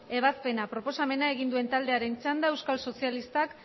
ebazpena proposamena egin duen taldearen txanda euskal sozialistak